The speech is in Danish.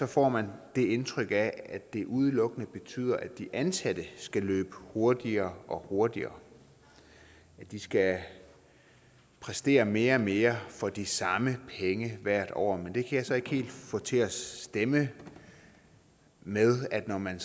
får man indtrykket af at det udelukkende betyder at de ansatte skal løbe hurtigere og hurtigere at de skal præstere mere og mere for de samme penge hvert år men det kan jeg så ikke helt få til at stemme med at når man